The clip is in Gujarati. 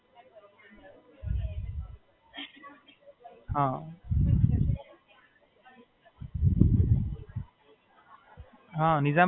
હાં, એમએસ નું છે ને, બે કોર્ટ છે બઉ સારા.